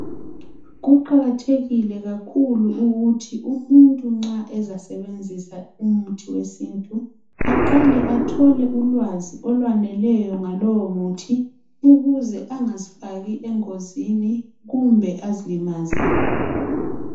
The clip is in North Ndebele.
Kuqakathekile kakhulu ukuthi umuntu nxa ezasebenzisa umuthi wesintu aqale athole ulwazi okwaneleyo ngalowo muthi ukuze angazifaki engozini kumbe azilimaze.